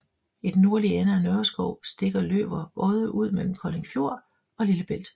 I den nordlige ende af Nørreskov stikker Løver Odde ud mellem Kolding Fjord og Lillebælt